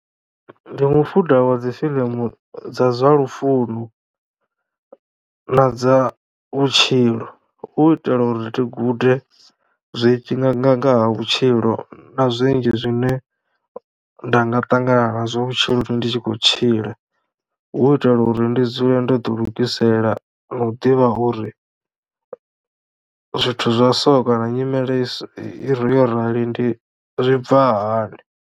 Ndi mufuda wa dzi fiḽimu dza zwa lufuno na dza vhutshilo hu u itela uri ndi gude zwinzhi nga nga ngaha vhutshilo na zwinzhi zwine nda nga ṱangana nazwo vhutshilo ndi tshi kho tshila hu itela uri ndi dzule ndo ḓi lugisela no u ḓivha uri zwithu zwa so kana nyimele i so yo rali ndi zwi bva hani.